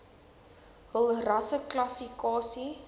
hul rasseklassi kasie